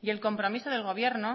y el compromiso del gobierno